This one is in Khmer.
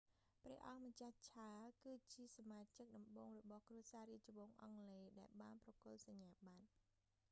ព្រះអង្គម្ចាស់ charles ឆាល គឺជាសមាជិកដំបូងរបស់គ្រួសាររាជវង្សអង់គ្លេសដែលបានប្រគល់ សញ្ញាប័ត្រ